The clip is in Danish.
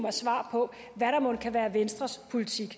af svar på hvad der mon kan være venstres politik